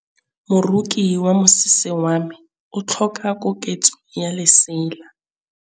Moroki wa mosese wa me o tlhoka koketsô ya lesela.